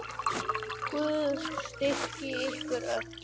Guð styrki ykkur öll.